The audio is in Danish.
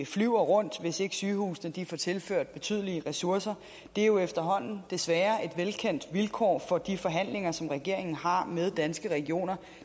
flyver rundt hvis ikke sygehusene får tilført betydelige ressourcer det er jo efterhånden desværre er et velkendt vilkår for de forhandlinger som regeringen har med danske regioner